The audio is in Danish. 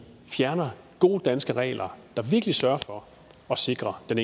fjerner gode danske regler der virkelig sørger for at sikre den